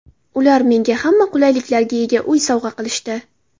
Ular menga hamma qulayliklarga ega uy sovg‘a qilishdi.